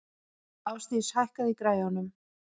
Ásdís, hækkaðu í græjunum.